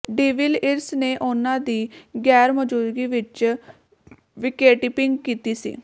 de Villiers ਨੇ ਉਨ੍ਹਾਂ ਦੀ ਗੈਰਮੌਜੂਦਗੀ ਵਿੱਚ ਵਿਕੇਟਕੀਪਿੰਗ ਕੀਤੀ ਸੀ